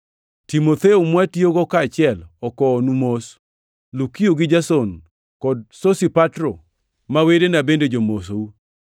Timotheo, mwatiyogo kaachiel okowonu mos; Lukio gi Jason kod Sosipatro ma wedena bende jomosou.